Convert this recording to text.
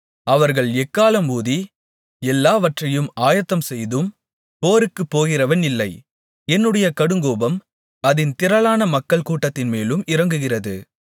அவர்கள் எக்காளம் ஊதி எல்லாவற்றையும் ஆயத்தம்செய்தும் போருக்குப் போகிறவன் இல்லை என்னுடைய கடுங்கோபம் அதின் திரளான மக்கள் கூட்டத்தின் மேலும் இறங்குகிறது